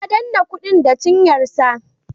Ya danne kudin da cinyarsa.